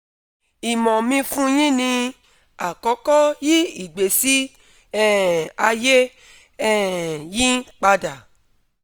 imo mi fun yin ni: akọkọ yi igbesi um aye um yin pada